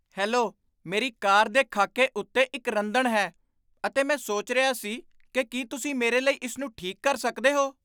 Hello! ਮੇਰੀ car ਦੇ ਖਾਕੇ ਉੱਤੇ ਇੱਕ ਰੰਦਣ ਹੈ, ਅਤੇ ਮੈਂ ਸੋਚ ਰਿਹਾ ਸੀ ਕਿ ਕੀ ਤੁਸੀਂ ਮੇਰੇ ਲਈ ਇਸ ਨੂੰ ਠੀਕ ਕਰ ਸਕਦੇ ਹੋ।